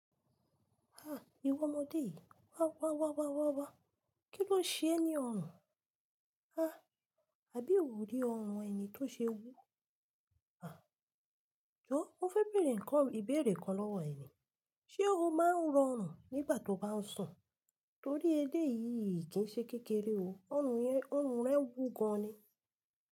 Ah! Iwọ ọmọdé yìí, wá wá wá wá wá wá. Kí ló ṣe ẹ ni ọrùn. Ah! Àbí ò rí ọrùn ẹ ni tó ṣe wú? Ah! Jọ́ mo fẹ́ bèèrè nnkan ìbéèrè kan lọ́wọ́ ẹ ni: ṣe o máa ń rọ'rùn nígbà tó bá ń sùn? Torí eleyìí kì í ṣe kékeré o, ọrùn rẹ wú gan ni.